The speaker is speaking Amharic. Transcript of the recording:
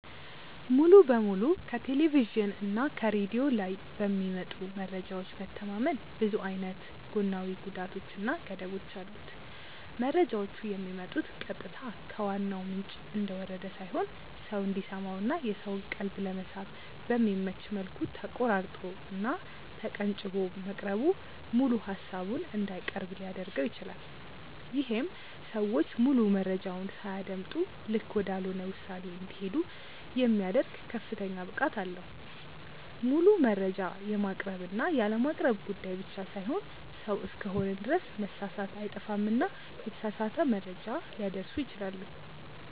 ሙሉ በሙሉ ከቴሌቭዥን እና ከሬድዮ ላይ በሚመጡ መረጃዎች መተማመን ብዙ አይነት ጎናዊ ጉዳቶች እና ገደቦች አሉት። መረጃዎቹ የሚመጡት ቀጥታ ከዋናው ምንጭ እንደወረደ ሳይሆን ሰው እንዲሰማው እና የሰውን ቀልብ ለመሳብ በሚመች መልኩ ተቆራርጦ እና ተቀንጭቦ መቅረቡ ሙሉ ሃሳቡን እንዳይቀርብ ሊያድርገው ይችላል። ይሄም ሰዎች ሙሉ መረጃውን ሳያደምጡ ልክ ወዳልሆነ ውሳኔ እንዲሄዱ የሚያደርግ ከፍተኛ ብቃት አለው። ሙሉ መረጃ የማቅረብ እና ያለማቅረብ ጉዳይ ብቻ ሳይሆን ሰው እስከሆንን ድረስ መሳሳት አይጠፋምና የተሳሳተ መረጃ ሊያደርሱ ይችላሉ።